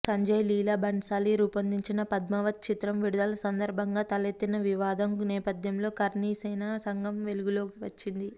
సంజయ్ లీలా భన్సాలీ రూపొందించిన పద్మావత్ చిత్రం విడుదల సందర్భంగా తలెత్తిన వివాదం నేపథ్యంలో కర్ణిసేన సంఘం వెలుగులోకి వచ్చింది